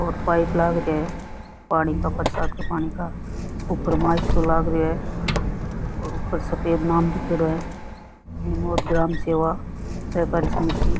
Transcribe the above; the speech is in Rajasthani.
और पाइप लाग रेहा है पानी का बरसात का पानी का ऊपर माइक सो लाग रेयो है और ऊपर सफ़ेद नाम दीखेड़ो है निमोद ग्राम सेवा सहकारी समिति।